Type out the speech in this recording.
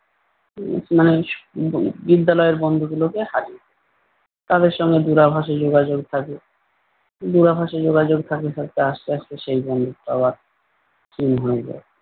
উম মানে আহ বিদ্যালয়ের বন্ধু গুলোকে হারিয়ে ফেলি। তাদের সঙ্গে দূরাভাষে যোগাযোগ থাকে। উম দূরাভাষে যোগাযোগ থাকতে থাকতে আস্তে আস্তে সেই বন্ধুত্ব আবার ক্ষীণ হয়ে যায়।